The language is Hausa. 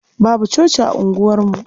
Babu coci a unguwarmu.